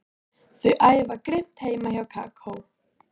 Þau æfa grimmt heima hjá Kókó.